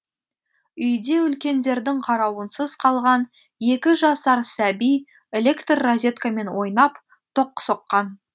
үйде үлкендердің қарауынсыз қалған екі жасар сәби электр розеткамен ойнап тоқ соққан